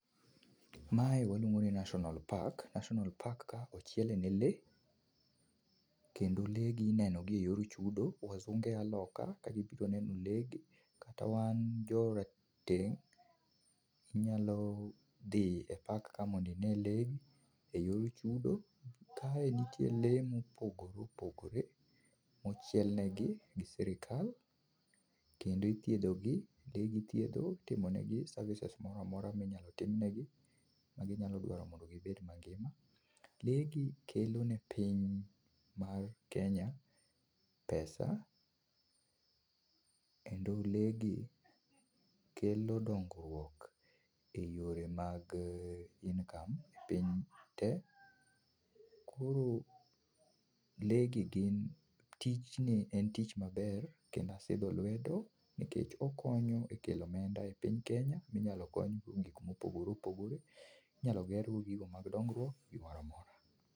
Mae waluongoni National Park, National Park ka ochiele ne lee, kendo lee gi inenogi e yor chudo, wazunge a loka ka gibiro neno lee gi, kata wan jorateng' inyalo dhi e park ka mondo ine lee, e yor chudo. Kae nitie lee ma opogore opogore, mochielnegi go sirkal, kendo ithiedhogi, lee gi ithiedho, itimonegi services moramora minyalo timnegi, maginyalo dwaro mondo gibed mangima. Lee gi kelone piny mar Kenya pesa, kendo lee gi kelo dongruok, e yore mag income piny te. Koro lee gi gin, tijni en tich maber, kendo asidho lwedo, nikech okonyo e kelo omenda e piny Kenya, minyalo konygo gik mopogore opogore. Inyalo ger go gigo mag dongruok, gimoramora.